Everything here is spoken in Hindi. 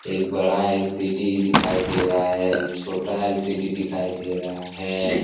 एक बड़ा एल.सी.डी. दिखाई दे रहा है एक छोटा एल.सी.डी. दिखाई दे रहा है।